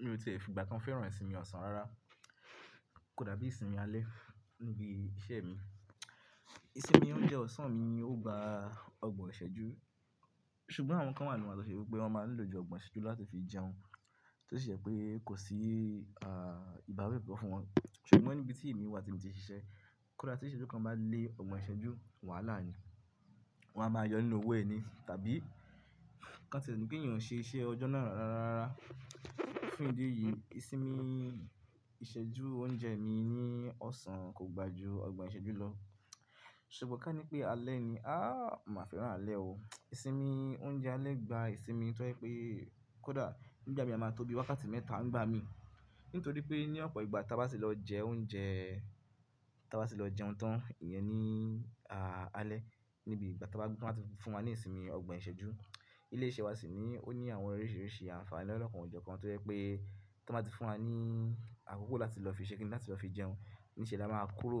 Mi ò tí fi ìgbà kan fẹ́ràn ìsinmi ọ̀sán rárá. Kò dàbí ìsinmi alẹ́ níbi iṣẹ́ mi. Ìsinmi oúnjẹ ọ̀sán mi ni ó gba ọgbọ̀n ìṣẹ́jú. Ṣùgbọ́n àwọn kan wà nínú wa tó ṣe wípé wọ́n máa ń lò jù ọgbọ̀n ìṣẹ́jú lọ láti fi jẹun. Tí ó ṣe pé kò sí, ah, ìbáwí kankan fún wọn. Ṣùgbọ́n níbi tí èmi wà tí mo ti ń ṣiṣẹ́, kódà tí ìṣẹ́jú kan bá lé ọgbọ̀n ìṣẹ́jú, wàhálà ni. Wọn á máa yọ nínú owó ẹni, tàbí ká tiẹ̀ ni pé èèyàn ò ṣe iṣẹ́ ọjọ́ náà rárá. Fún ìdí èyí, ìsinmi ìṣẹ́jú oúnjẹ mi ní ọ̀sán kò gbà ju ọgbọ̀n ìṣẹ́jú lọ. Ṣùgbọ́n ká ní pé alẹ́ ni, ah, mo má fẹ́ràn alẹ́ o. Ìsinmi oúnjẹ alẹ́ gba ìsinmi tó jẹ́ pé, kódà nígbà mì a máa ń tó bí wákàtí mẹ́ta ńgbá mín nítorí pé ní ọ̀pọ̀ ìgbà tí a bá sì lọ jẹ oúnjẹ, tí a bá ti lọ jẹun tán, ìyẹn ní, ah, alẹ́. Níbi ìgbà tí wọ́n bá ti fún wa ní ìsinmi ọgbọ̀n ìṣẹ́jú, ilé iṣẹ́ wa sì ní, ó ní àwọn oríṣiríṣi àǹfààní lọ́ lọ́kàn ojọ kan tó jẹ́ pé tí wọ́n bá ti fún wa ní àkókò láti lọ fi ṣé kiní, láti lọ fi jẹun, ní ìṣẹ́ni a máa kúrò.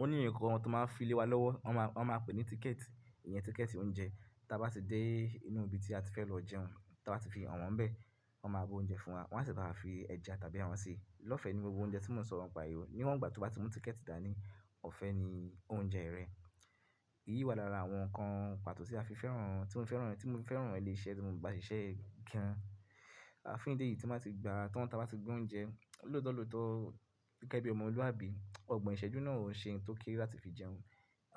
Ó ní nǹkan kan tí wọ́n máa ń fi lé wa lọ́wọ́, wọ́n máa ń pè ní tíkẹ̀tì, ìyẹn tíkẹ̀tì oúnjẹ. Tí a bá ti dé inú ibi tí a ti fẹ́ lọ jẹun, tí a bá ti fi han wọ́n níbẹ̀, wọ́n máa by oúnjẹ fún wa, wọ́n á sì bá wa fi ẹja tàbí ẹran ṣi lọ́fẹ̀ní gbogbo oúnjẹ tí mò ń sọ̀rọ̀ nípa rẹ̀ yìí o ní wọ́n ìgbà tí ọba ti mú tíkẹ̀tì dà ní, ọ̀fẹ́ ni oúnjẹ rẹ. Èyí wá lára àwọn nǹkan pàtó tí a fi fẹ́ràn, tí mò fi fẹ́ràn, tí mò fi fẹ́ràn ilé iṣẹ́ tí mò ń ba ṣiṣẹ́ gan-an. Àfín díẹ̀ tí n ba ti gba tán ti abá ti gba oúnjẹ, lóòótọ́ lóòótọ́ gẹ́gẹ́ bí ọmọlúwàbí, ọgbọ̀n ìṣẹ́jú náà o ṣe n tó kéré láti fi jẹun.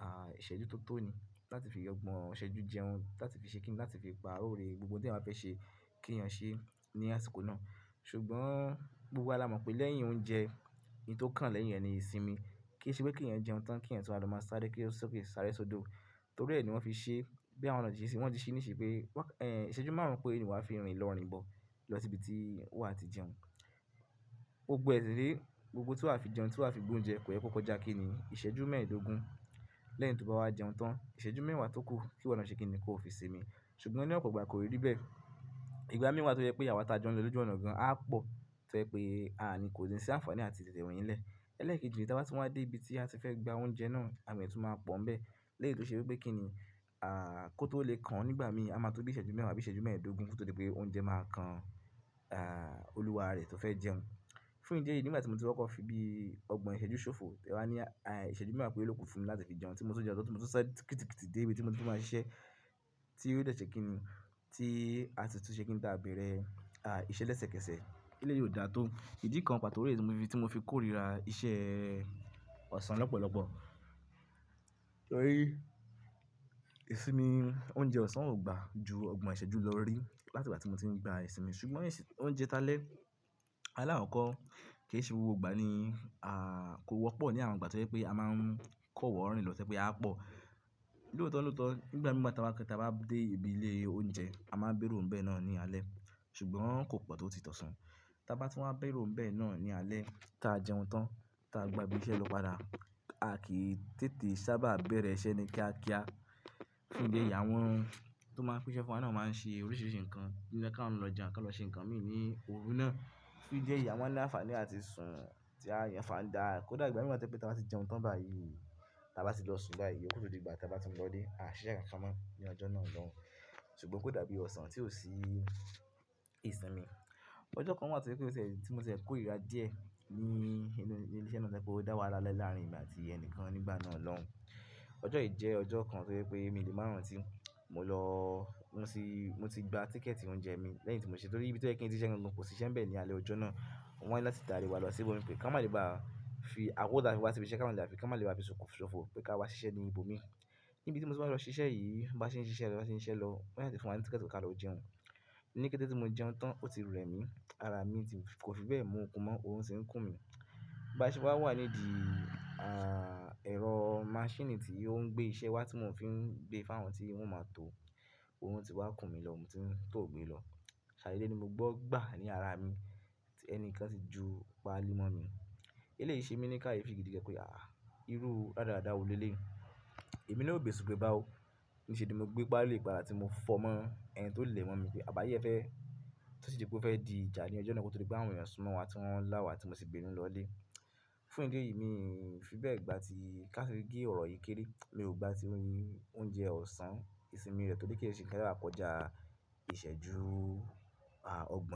Ah, ìṣẹ́jú tó tó ni láti fi ọgbọ̀n ìṣẹ́jú jẹun, láti fi ṣe kiní, láti fi pa òrè gbogbo tí màá fẹ́ ṣe kí èèyàn ṣe ní àsìkò náà. Ṣùgbọ́n gbogbo wa la mọ̀ pé lẹ́yìn oúnjẹ, ohun tó kàn lẹ́yìn rẹ̀ ni ìsinmi. Kì ṣe pé kí èèyàn jẹun tán kí èèyàn tún wá ló máa sáré sókè sáré sódò. Torí ẹ ni wọ́n fi ṣe, bí àwọn náà ṣe ṣe wọ́n ti ṣe níṣe pé waka, ìṣẹ́jú márùn-ún péré ni wọ́n á fi rìn lọ́ rinbọ̀ lọ sí ibi tí waa ti jẹun. Gbògbọ ẹsẹ̀ sì rèé, gbogbo in tí wá fi jẹun, tí wa á fi gbé oúnjẹ kò yẹ kó kó já kìni ìṣẹ́jú mẹ́ẹ̀dógún. Lẹ́yìn tí ọ́ bá wá jẹun tán, ìṣẹ́jú mẹ́wàá tó kù kí wọ́n lọ ṣe kiní kó fi sinmi. Ṣùgbọ́n ní ọ̀pọ̀ ìgbà koi rí bẹ́ẹ̀. Ìgbà mi wàá tó jẹ́ pé àwa ti á jọ̀n lò lójú ọ̀nà gan-an á pọ̀, tó jẹ́ pé kò ní sí àǹfààní àti tètè rin ní ilẹ́. Lẹ́ẹ̀kejì rẹ̀ tí a bá tún wá dé ibi tí a ti fẹ́ gba oúnjẹ náà, àwọn èèyàn tún máa pọ̀ ń bẹ́ẹ̀. Lẹ́yì tó ṣe wípé kín ní, ah, kó tó lè kan o nígbà mìí a máa tó bí ìṣẹ́jú mẹ́wàá bí ìṣẹ́jú mẹ́ẹ̀dógún kotodi pé oúnjẹ máa kan, ah, olúwa rẹ tó fẹ́ jẹun. Fún ìdí èyí, nígbà tí mo ti kokọ̀ fi bí ọgbọ̀n ìṣẹ́jú ṣòfò, tẹ wá ní, ah, ìṣẹ́jú mẹ́wàá péré ló kù fún mi láti fi jẹun tí mo tú ń jẹun tán tí mo sì sá kítìkítì dé ibi tí mo ti fẹ́ máa ṣiṣẹ́ tí ó dè ṣẹ́ kiní tí a sì tún ṣe kín tábẹ̀rẹ̀, ah, iṣẹ́ lẹ́sẹ̀kẹsẹ̀. Eléyìí ò da tó. Ìdí kan pàtó rẹ́ tí mo fi, tí mo fi kórìíra iṣẹ́ ọ̀sán lọ́pọ̀lọ́pọ̀. Torí ìsinmi oúnjẹ ọ̀sán ò gba ju ọgbọ̀n ìṣẹ́jú lọ rí láti ìgbà tí mo ti ń gba ìsinmi. Ṣùgbọ́n ìsinmi oúnjẹ ta lẹ́, ala kokọ́ kì í ṣe gbogbo ìgbà ni, ah, kò wọ́pọ̀ ní àwọn ìgbà tó jẹ́ pé a máa ń kọ̀ wọ́ rìn lọ tẹ́ jẹ́ pé aa pọ̀. Lóòótọ́ lóòótọ́ nígbà mì wa tí a bá, tí a bá dé ibi ilé oúnjẹ a máa béèrò ń bẹ̀ náà ní alẹ́. Ṣùgbọ́n kò pọ̀ tó ti ọ̀sán. Tí a bá tún wá béèrò bẹ̀ náà ní alẹ́ tí a jẹun tán tí a gba ibi iṣẹ́ lọ padà, a kì í tètè sábà bẹ̀rẹ̀ iṣẹ́ ni kíákíá. Fún ìdí èyí àwọn tó máa ń pín iṣẹ́ fún wa náà máa ń ṣe oríṣiríṣi nǹkan kí àwọn náà lọ jẹun àbí kí wọn lọ ṣe nǹkan mi ní òru náà. Fún ìdí èyí àmọ n ní àǹfààní àti sùn tí a yàn fàndaá. Kódà ìgbà mìi wa tó jẹ́ wípé tí a bá ti jẹun tán báyìí, tí a bá ti lọ sun báyìí, iyó kù tún di ìgbà tí a bá ti ń lọ ilé, à ṣìṣe kan kan máa ní ọjọ́ náà loun. Ṣùgbọ́n kò dàbí ọ̀sán tí ò sí ìsinmi. Ọjọ́ kan wà tí ó jẹ́ wípé, tí mo tiẹ́ kórìíra díẹ̀ ní inú ilé iṣẹ́ náà tó jẹ́pé ó dá wàhálà lé lárìn èmi àti ẹnìkan nígbà náà lọ́hun. Ọjọ́ yìí jẹ́ ọjọ́ kan tó jẹ́ pé mi lè máa ràn tí mò lọ, mo ti, mo ti gba tíkẹ̀tì oúnjẹ mi lẹ́yìn tí mo ṣe torí ibi tó yẹ kí n tí ṣise gangan kò sí iṣẹ́ ń bẹ̀ ní alẹ́ ọjọ́ náà. Wọ́n wáni láti tàrí wa lọ sí ibòmí pé ká má lè bá fi àkòko ti afiwa síbi iṣẹ́ ká má lè bafi, ká má lè bá fi sọfọ ṣòfò pé ká wá ṣiṣẹ́ ní ibòmí. Níbi tí mo ti wá lọ ṣiṣẹ́ yìí, bá ṣe ń ṣiṣẹ́ lọ, bá ṣe ń ṣiṣẹ́ lọ, wọ́n sa tí fún wa ní tíkẹ̀tì pé ká lọ jẹun. Ní kété tí mo jẹun tán ó ti rẹ́ mi, ara mi ti kò fi bẹ́ẹ̀ mú òkun mọ́, òrun tì ń kùn mí. Bá ṣe wá wà nídi, ah, ẹ̀rọ maṣíìnì tí ó ń gbé iṣẹ́ wá tí wọ́n fi ń gbé fún àwọn tí wọ́n máa tó, òrun ti wá ń kùn mí lọ, mo ti ń tòò gbé lọ. Ṣàdede ní mo gbọ́ gbà ní ara mi tí ẹni kan ti ju paálí mọ́ mi. Elé yìí ṣe mi ní ká yé fi gidi gan pé, ah, irú ràda ràda wo lé lé yìí? Èmi ló gba eṣù gbé bá o. Níṣe ni mo gbé paali padà tí mo fọ́ mọ́ ẹni tó lè mọ́n mi pé àbí ayé ẹ fẹ́. Tí ó sì di pé ó fẹ́ di ìjà ní ọjọ́ náà kó tó di pé àwọn ènìyàn sún mọ́ wa, tí wọ́n la wa tí mo sì bínú lọ ilé. Fún ìdí èyìí mín fi bẹ́ẹ̀ gbàtí kage orp yìí kere, mio gbàtí oúnjẹ ọ̀sán ìsinmi rẹ̀ torí ke sábà kọjá ìṣẹ́jú ọgbọ̀n.